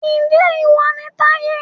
Ǹjẹ́ ìwọ ni Táyé